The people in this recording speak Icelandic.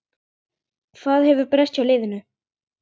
Hvað hefur breyst hjá liðinu?